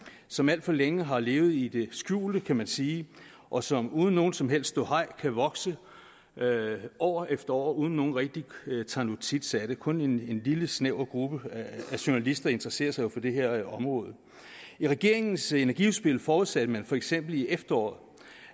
som alt for længe har levet i det skjulte kan man sige og som uden noget som helst ståhej kan vokse år efter år uden at nogen rigtig tager notits af det kun en lille snæver gruppe journalister interesserer sig jo for det her område i regeringens energiudspil forudsatte man for eksempel i efteråret